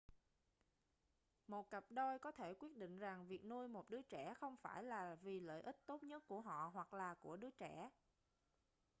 một cặp đôi có thể quyết định rằng việc nuôi một đứa trẻ không phải là vì lợi ích tốt nhất của họ hoặc là của đứa trẻ